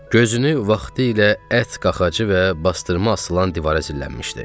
Gözünü vaxtilə ət qaxacı və bastırma asılan divara zilləmişdi.